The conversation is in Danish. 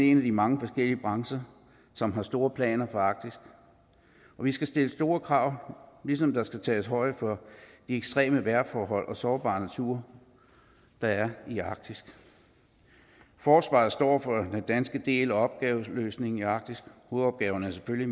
en af de mange forskellige brancher som har store planer for arktis og vi skal stille store krav ligesom der skal tages højde for de ekstreme vejrforhold og den sårbare natur der er i arktis forsvaret står for danske del af opgaveløsningen i arktis hovedopgaven er selvfølgelig